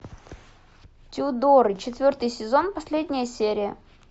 тюдоры четвертый сезон последняя серия